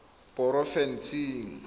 porofensing